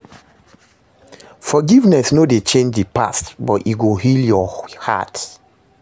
Forgiveness no dey change di past, but e go heal yur heart